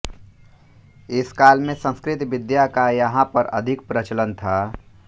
इस काल में संस्कृत विद्या का यहाँ पर अधिक प्रचलन था